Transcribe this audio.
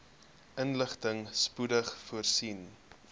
inligting spoedig voorsien